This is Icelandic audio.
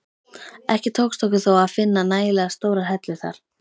Ekki tókst okkur þó að finna nægilega stórar hellur þar.